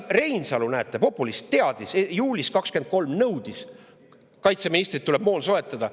Reinsalu, näete, populist teadis kuidagi juulis 2023, nõudis kaitseministrilt, et tuleb moon soetada.